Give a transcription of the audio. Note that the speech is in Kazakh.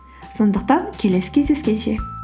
сондықтан келесі кездескенше